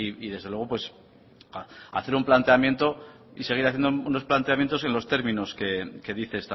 y desde luego hacer un planteamiento y seguir haciendo unos planteamiento en los términos que dice